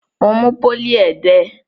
Mo mú pólì ẹdẹ.